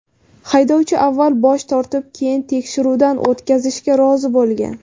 Haydovchi avval bosh tortib, keyin tekshiruvdan o‘tishga rozi bo‘lgan.